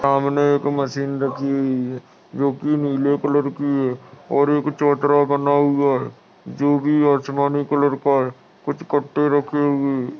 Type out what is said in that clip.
सामने एक मशीन रखी हुई है जो कि नीले कलर की है और एक चोतरा बना हुआ है जो कि आसमानी कलर का है कुछ कट्टे रखे हुए है ।